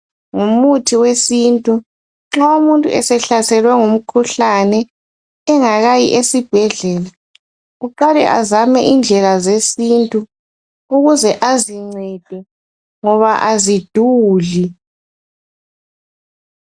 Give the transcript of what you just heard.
Ngumuthi wesintu nxa umuntu sehlaselwe ngumkhuhlane engakayi esibhedlela uqale azame indlela zesintu ukuze azincede ngoba aziduli